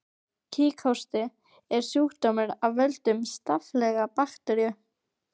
Kíghósti er sjúkdómur af völdum staflaga bakteríu.